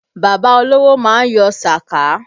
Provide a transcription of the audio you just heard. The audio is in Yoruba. Bàbá olówó má ń yọ sàká